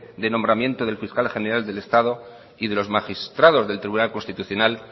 de nombramiento del fiscal general del estado y de los magistrados del tribunal constitucional